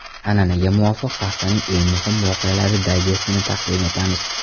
An’anaga muvofiq, haftaning eng muhim voqealari dayjestini taqdim etamiz.